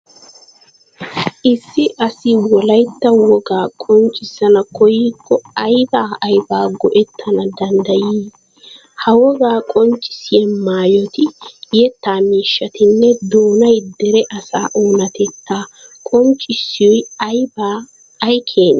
Issi asi wolaytta wogaa qonccissana koyyikko aybaa aybaa go"ettana danddayii? Ha wogaa qonccissiya maayoti, yettaa miishshatinne doonay dere asaa oonatettaa qonccissiyo abbee ay keenee?